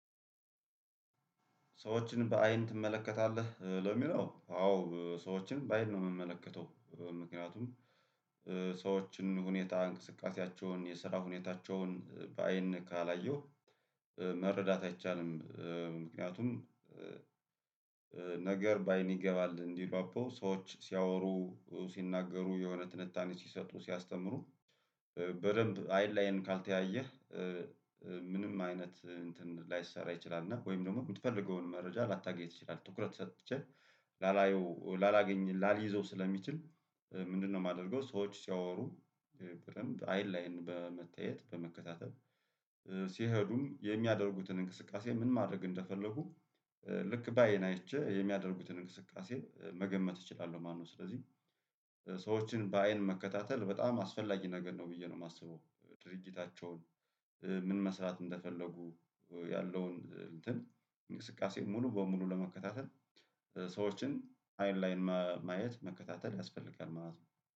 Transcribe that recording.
ሰዎችን በአይን ትመለከታለህ? ለሚለው አዎ ሰዎችን በአይን ነው የምመለከተው። ምክንያቱም ሰዎችን ሁኔታ እንቅስቃሴያቸውን የስራ ሁኔታቸውን በአይን ካላየሁ መረዳት አይቻልም። ምክንያቱም ነገር በአይን ይገባል እንዲሉ አበው ሰዎች ሲያወሩ ሲናገሩ የሆነ ትንታኔ ሲሰጡ ሲያስተምሩ በደንብ አይን ላይን ካልተያየህ ምንም አይነት እንትን ላይሰራ ይችላል ወይም ደግሞ የምትፈልገውን መረጃ ላታገኝ ትችላለህ። ትኩረት ሰጥቼ ላላየው ላላገኝ ላልይዘው ስለሚችል ምንድነው? የማደርገው ሰዎች ሲያወሩ በደንብ አይን ለአይን በመታያየት በመከታተል። ሲሄዱም የሚያደርጉትን እንቅስቃሴ ምን ማድረግ እንደፈለጉ ልክ በአይን አይቼ የሚያደርጉትን እንቅስቃሴ መገመት እችላለሁ ማለት ነው። ስለዚህ ሰዎችን በአይን መከታተል በጣም አስፈላጊ ነገር ነው ብዬ ነው የማስበው። ድርጊታቸውን ምን መስራት እንደፈለጉ ያለውን እንትን እንቅስቃሴ ሙሉ በሙሉ ለመከታተል ሰዎችን አይን ለአይን ማየት መከታተል ያስፈልጋል ማለት ነው